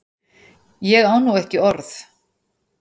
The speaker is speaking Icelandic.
Ég á nú ekki orð!